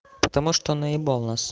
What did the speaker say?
потому что наебал нас